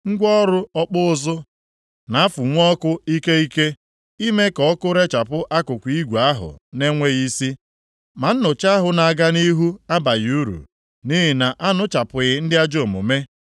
Ngwa ọrụ ọkpụ uzu na-afụnwu ọkụ ike ike, ime ka ọkụ rechapụ akụkụ igwe ahụ na-enweghị isi, ma nnụcha ahụ na-aga nʼihu abaghị uru, nʼihi na anụchapụghị ndị ajọ omume.